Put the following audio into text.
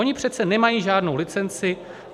Oni přece nemají žádnou licenci.